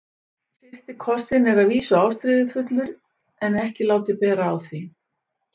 FYRSTI KOSSINN er að vísu ástríðufullur en ekki látið bera á því.